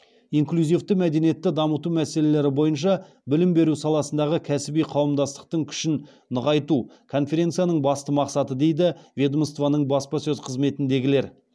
инклюзивті мәдениетті дамыту мәселелері бойынша білім беру саласындағы кәсіби қауымдастықтың күшін нығайту конференцияның басты мақсаты дейді ведомствоның баспасөз қызметіндегілер